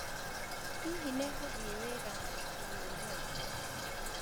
Hihi nĩ ngũthiĩ wĩra na iburi ũmũthĩ?